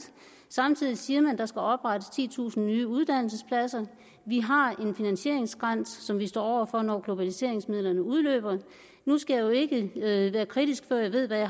samtidig siger man at der skal oprettes titusind nye uddannelsespladser vi har en finansieringsgrænse som vi står over for når globaliseringsmidlerne udløber nu skal jeg jo ikke være kritisk før jeg ved hvad